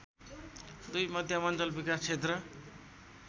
२ मध्यमाञ्चल विकास क्षेत्र